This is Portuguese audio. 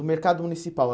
O Mercado Municipal.